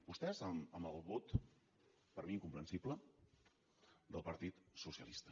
vostès amb el vot per mi incomprensible del partit socialista